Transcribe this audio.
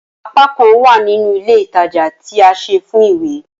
Apakan wa nínú ilé ìtajà ti a se fún ìwé